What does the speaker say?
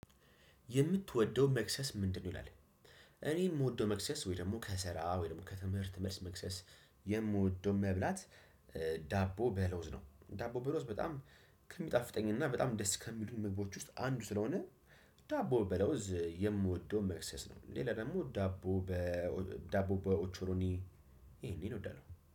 የምትወደው መክሰስ ምንድነው? ይላል እኔ የምወደው መክሰስ ወይ ደግሞ ከሰራ ወይም ደግሞ ከትምህርት መልስ መክሰስ የምወደው መብላት ዳቦ በለውዝ ነው ዳቦ በለውዝ በጣም ከሚጣፍጠኝ እና በጣም ደስ ከሚሉኝ ምግቦች ውስጥ አንዱ ስለሆነ ዳቦ በለውዝ የምወደው መክሰስ ነው። ሌላ ደግሞ ዳቦ በዳቦ በኦቾሎኒ ይሄን ይሄን ነው እወዳለው።